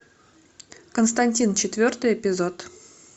константин четвертый эпизод